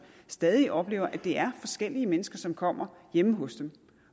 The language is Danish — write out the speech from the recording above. stadig oplever at det er forskellige mennesker som kommer hjemme hos dem